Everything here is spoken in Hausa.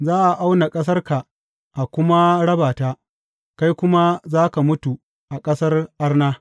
Za a auna ƙasarka a kuma raba ta, kai kuma za ka mutu a ƙasar arna.